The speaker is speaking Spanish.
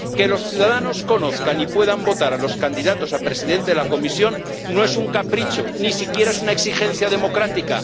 Que los ciudadanos conozcan y puedan votar a los candidatos a presidente de la Comisión no es un capricho, ni siquiera es una exigencia democrática